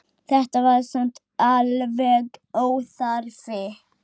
Þetta var samt alveg óþarfi